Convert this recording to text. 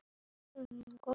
Þá þurfti hörku og seiglu.